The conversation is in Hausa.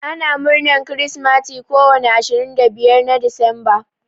Ana murnar kirsimati ko wani ashirin da biyar na decemba.